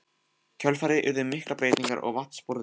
kjölfarið urðu miklar breytingar á vatnsborði þess.